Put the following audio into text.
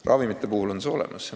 Ravimite puhul on see olemas.